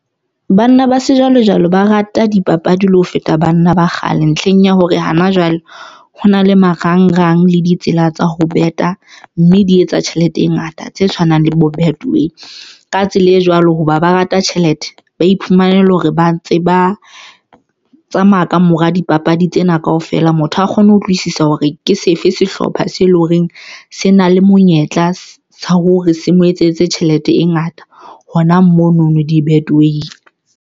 Banna ba sejwalejwale ba rata dipapadi le ho feta banna ba kgale ntlheng ya hore hana jwale ho na le marangrang le ditsela tsa ho bet-a mme di etsa tjhelete e ngata tse tshwanang le bo betway ka tsela e jwalo hoba ba rata tjhelete, ba iphumana ele hore ba ntse ba tsamaya ka mora dipapadi tsena kaofela. Motho ha kgone ho utlwisisa hore ke sefe sehlopha se eleng horeng se na le monyetla wa hore se mo etsetse tjhelete e ngata hona mono no di-betway-ing.